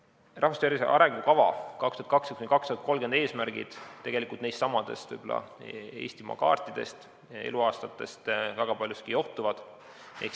"Eesti rahvastiku tervise arengukava 2020–2030" eesmärgid tegelikult johtuvad väga paljuski nendestsamadest eluaastaid käsitlevatest Eestimaa kaartidest.